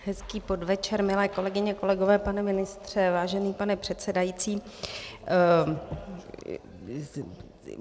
Hezký podvečer, milé kolegyně, kolegové, pane ministře, vážený pane předsedající.